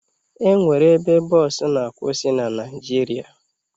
E nwere ebe bọọsụ na-akwụsị na Naịjirịa